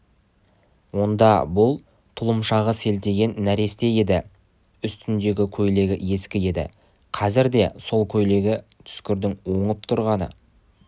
онда бұл тұлымшағы селтиген нәресте еді үстіндегі көйлегі ескі еді қазірде сол көйлегі түскірдің оңып тұрғаны